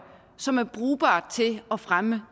som er brugbart til at fremme